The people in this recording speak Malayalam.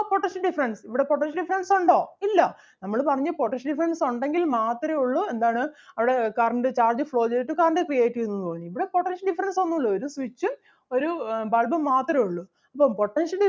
potential difference ഇവിടെ potential difference ഒണ്ടോ ഇല്ല നമ്മള് പറഞ്ഞു potential difference ഒണ്ടെങ്കിൽ മാത്രേ ഒള്ളു എന്താണ് അവിടെ current charge flow ചെയ്തിട്ട് current create ചെയ്യുന്നു എന്ന് പറഞ്ഞു. ഇവിടെ potential difference ഒന്നൂല്ല ഒരു switch ഒരു bulb ഉം മാത്രേ ഒള്ളു. അപ്പോ potential